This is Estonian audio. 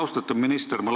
Austatud minister!